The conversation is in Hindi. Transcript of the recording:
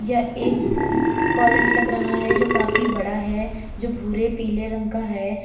यह एक कॉलेज लग रहा है जो काफी बड़ा है जो भूरे पीले रंग का है।